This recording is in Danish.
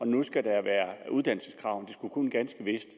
nu skulle være uddannelseskrav men det skulle ganske vist